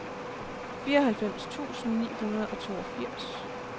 fireoghalvfems tusind ni hundrede og toogfirs